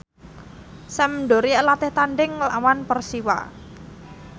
Sampdoria latih tandhing nglawan Persiwa